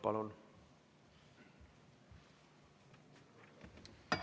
Palun!